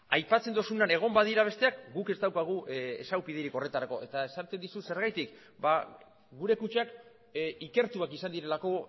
aipatzen duzunean egon badira besteak guk ez daukagu ezagupiderik horretarako eta esaten dizut zergatik gure kutxak ikertuak izan direlako